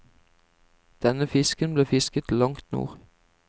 Denne fisken ble fisket langt nord.